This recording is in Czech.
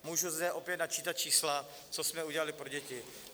Můžu zde opět načítat čísla, co jsme udělali pro děti.